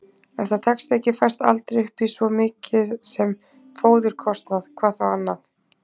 Ef það tekst ekki fæst aldrei upp í svo mikið sem fóðurkostnað, hvað þá annað.